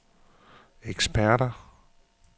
eksperter